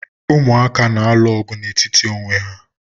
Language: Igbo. Umụaka na-alụ ọgụ n'etiti onwe